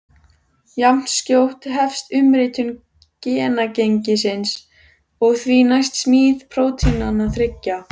Jafnskjótt hefst umritun genagengisins og því næst smíð prótínanna þriggja.